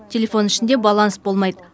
телефон ішінде баланс болмайды